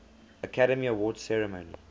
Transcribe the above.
academy awards ceremony